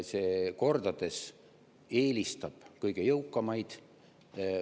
See kordades eelistab kõige jõukamaid.